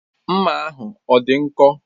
Mma ahụ ọ dị nkọ?